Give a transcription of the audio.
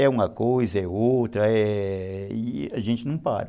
É uma coisa, é outra, é... e a gente não para.